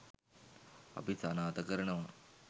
අපි සනාථ කරනවා.